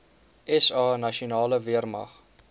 sa nasionale weermag